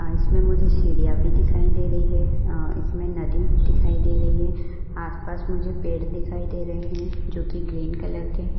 आ इसमे मुझे सिडीया भी दिखायी दे रही है इसी में नदी दिखयी दे रही है आस पास मुझे पेड दिखायी दे रहा ही जो कि ग्रीन कलर के है।